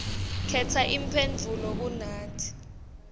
khetsa imphendvulo kunati